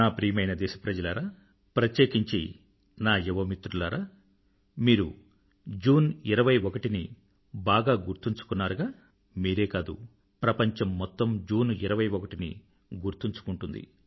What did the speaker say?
నా ప్రియమైన దేశప్రజలారా ప్రత్యేకించి నా యువ మిత్రులారా మీరు జూన్ 21ని బాగా గుర్తుంచుకున్నారుగా మీరే కాదు ప్రపంచం మొత్తం జూన్ 21ని గుర్తుంచుకుంటుంది